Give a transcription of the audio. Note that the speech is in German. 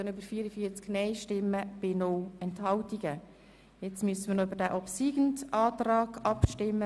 Wir stimmen nun noch über den obsiegenden Antrag ab.